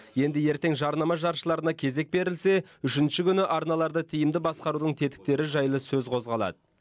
енді ертең жарнама жаршыларына кезек берілсе үшінші күні арналарды тиімді басқарудың тетіктері жайлы сөз қозғалады